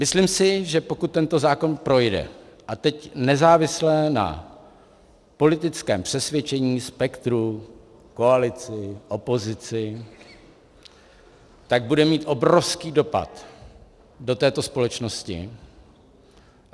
Myslím si, že pokud tento zákon projde - a teď nezávisle na politickém přesvědčení, spektru, koalici, opozici - tak bude mít obrovský dopad do této společnosti.